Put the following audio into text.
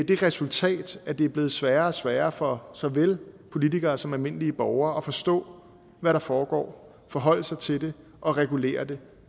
det resultat at det er blevet sværere og sværere for såvel politikere som almindelige borgere at forstå hvad der foregår og forholde sig til det og regulere det